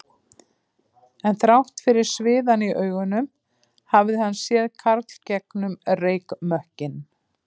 En þrátt fyrir sviðann í augunum hafði hann séð Karl gegnum reykmökkinn